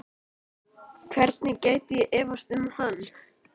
Hvernig gæti ég efast um hann?